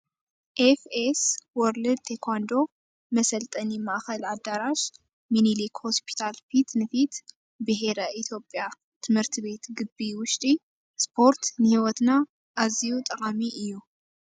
ኤፍ .ኤስ ወርልድ ቴኳንዶ መሰልጠኒ ማእከል ኣድራሻ መኒሊክ ሆስፖታል ፊት ንፊት ብሔረ ኢትዮጵያ ት/ቤት ጊቢ ውሽጢ ስፖርት ንሂወትና ኣዝየዩ ጠቃሚ እዩ።